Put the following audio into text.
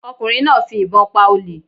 Ọ̀kùnrin náà fi ìbọn pa olè